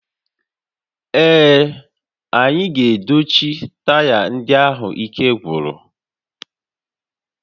Ee, anyị ga-edochi taya ndị ahụ ike gwụrụ